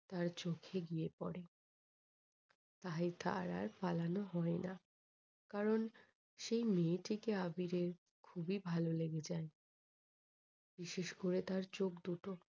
তার চোখে গিয়ে পরে তাই তার আর পালানো হয় না। কারণ সেই মেয়েটিকে আবিরের খুবই ভালো লেগে যায় বিশেষ করে তার চোখ দুটো।